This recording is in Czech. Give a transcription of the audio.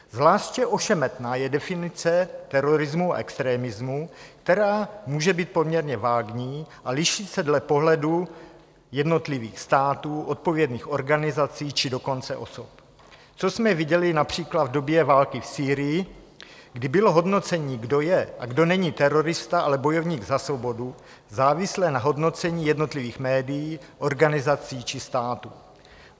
Zvláště ošemetná je definice terorismu a extremismu, která může být poměrně vágní a liší se dle pohledu jednotlivých států, odpovědných organizací, či dokonce osob, což jsme viděli například v době války v Sýrii, kdy bylo hodnocení, kdo je a kdo není terorista, ale bojovník za svobodu, závislé na hodnocení jednotlivých médií, organizací či států.